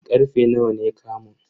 Karfe nawa ne kamun?